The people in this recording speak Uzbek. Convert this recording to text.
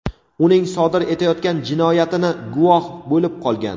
uning sodir etayotgan jinoyatini guvoh bo‘lib qolgan.